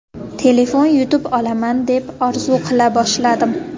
Telefon yutib olaman deb orzu qila boshladim”.